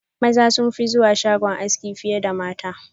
Maza sunfi zuwa shagon aski fiye da mata.